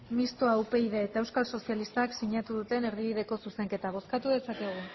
mistoa upydk eta euskal sozialistak sinatu duten erdibideko zuzenketa bozkatu dezakegu